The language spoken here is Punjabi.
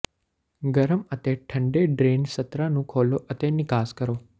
ਗਰਮ ਅਤੇ ਠੰਢਾ ਡਰੇਨ ਸਤਰਾਂ ਨੂੰ ਖੋਲ੍ਹੋ ਅਤੇ ਨਿਕਾਸ ਕਰੋ